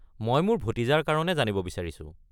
মই মোৰ ভতিজাৰ কাৰণে জানিব বিচাৰিছো।